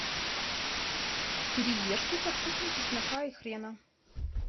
кириешки со вкусом чеснока и хрена